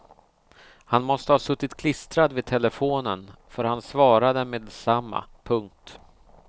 Han måste ha suttit klistrad vid telefonen för han svarade meddetsamma. punkt